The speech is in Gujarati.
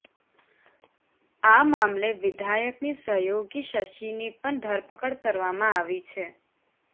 આ મામલે વિધાયકની સહયોગી શશી ની પણ ધરપકડ કરવામાં આવી છે